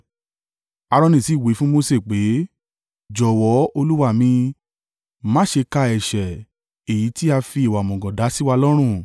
Aaroni sì wí fún Mose pé, “Jọ̀wọ́ olúwa mi, má ṣe ka ẹ̀ṣẹ̀, èyí tí a fi ìwà òmùgọ̀ dá sí wa lọ́rùn.